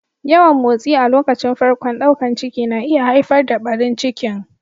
Yawan motsi a lokacin farkon daukan ciki na iya haifar da ɓarin ciki.